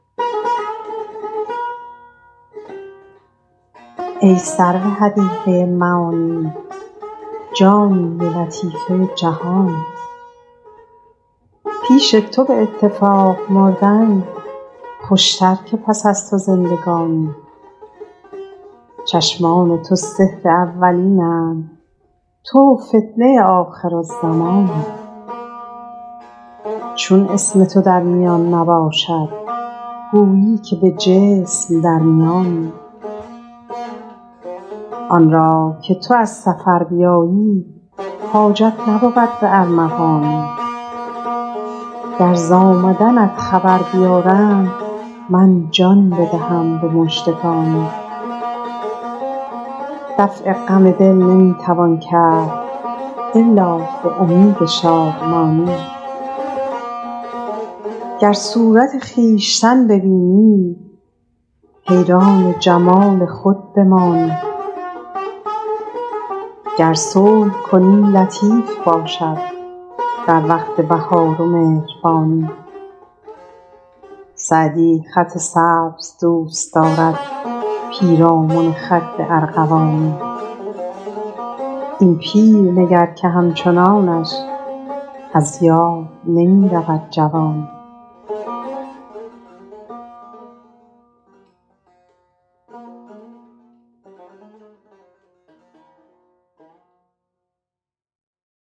ای سرو حدیقه معانی جانی و لطیفه جهانی پیش تو به اتفاق مردن خوشتر که پس از تو زندگانی چشمان تو سحر اولین اند تو فتنه آخرالزمانی چون اسم تو در میان نباشد گویی که به جسم در میانی آن را که تو از سفر بیایی حاجت نبود به ارمغانی گر ز آمدنت خبر بیارند من جان بدهم به مژدگانی دفع غم دل نمی توان کرد الا به امید شادمانی گر صورت خویشتن ببینی حیران وجود خود بمانی گر صلح کنی لطیف باشد در وقت بهار و مهربانی سعدی خط سبز دوست دارد پیرامن خد ارغوانی این پیر نگر که همچنانش از یاد نمی رود جوانی